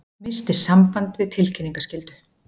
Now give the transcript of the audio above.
Missti samband við tilkynningaskyldu